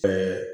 Ɛɛ